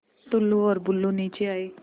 टुल्लु और बुल्लु नीचे आए